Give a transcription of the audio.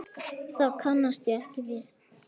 Það kannast ég ekki við.